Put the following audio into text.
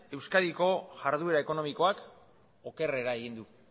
euskadiko iharduera ekonomikoak okerrera egin du